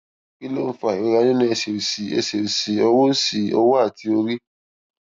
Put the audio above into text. kí ló ń fa ìrora nínú ẹsè òsì ẹsè òsì ọwọ òsì ọwọ àti orí